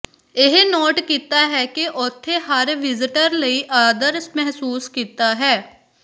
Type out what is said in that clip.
ਇਹ ਨੋਟ ਕੀਤਾ ਹੈ ਕਿ ਉਥੇ ਹਰ ਵਿਜ਼ਟਰ ਲਈ ਆਦਰ ਮਹਿਸੂਸ ਕੀਤਾ ਹੈ